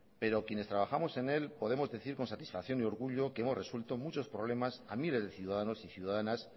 pero quines trabajamos en él podemos decir con satisfacción y orgullo que hemos resuelto muchos problemas a miles de ciudadanos y ciudadanas